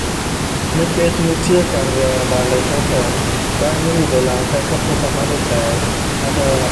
Nikech nitie kar goyo abal e tok ot, bang' rudho laka kapok amadho chai, agoyo abal